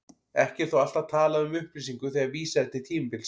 Ekki er þó alltaf talað um upplýsingu þegar vísað er til tímabilsins.